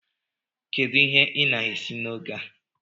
Kedu ihe ị na-esi n'oge a?